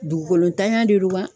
Dugukolotanya de do wa